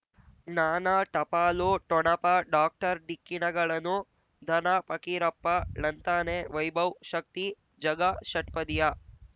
ಜ್ಞಾನ ಟಪಾಲು ಠೊಣಪ ಡಾಕ್ಟರ್ ಢಿಕ್ಕಿ ಣಗಳನು ಧನ ಫಕೀರಪ್ಪ ಳಂತಾನೆ ವೈಭವ್ ಶಕ್ತಿ ಝಗಾ ಷಟ್ಪದಿಯ